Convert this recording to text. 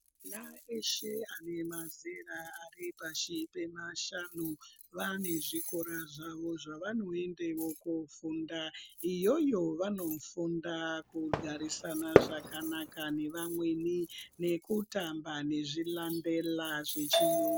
Ana eshe ane mazera Ari pashi pemashango vane zvikora zvawo zvavanoenda kofunda iyoyo vanofunda kugarisana nevamweni zvakanaka nekutamba nezvilambela zvechirungu.